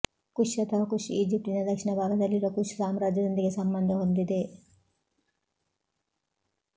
ಕುಶ್ ಅಥವಾ ಕುಶ್ ಈಜಿಪ್ಟಿನ ದಕ್ಷಿಣ ಭಾಗದಲ್ಲಿರುವ ಕುಶ್ ಸಾಮ್ರಾಜ್ಯದೊಂದಿಗೆ ಸಂಬಂಧ ಹೊಂದಿದೆ